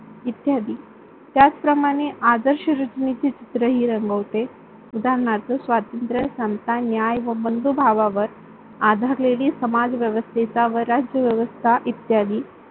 इत्यादी त्याचप्रमाणे आदर्श रुत्मेचे चित्र हि रंगवते. उदारणार्थ स्वातंत्र्य, समता, न्याय व बंधुभावावर आधारलेली समाजव्यवस्था व राज्यव्यवस्था इ.